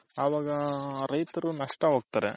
ಅವಾಗ ರೈತರು ನಷ್ಟ ಹೋಗ್ತಾರೆ